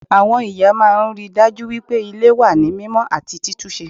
Àwọn ìyá máa n ríi dájú wípé Ilé wà ní mímó àti títúnse